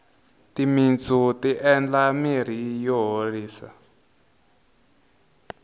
timintsu ti endla mirhi yo horisa